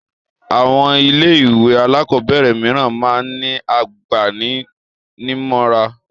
Àwọn ilé-ìwé alákọ̀ọ́bẹ̀rẹ̀ mìíràn máa ń ní agbani-nímọ̀ràn.